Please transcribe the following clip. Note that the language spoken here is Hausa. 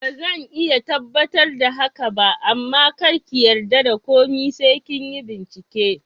Bazan iya tabbatar da haka ba amma karki yarda da komai sai kinyi bincike